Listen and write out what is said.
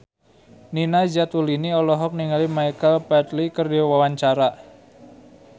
Nina Zatulini olohok ningali Michael Flatley keur diwawancara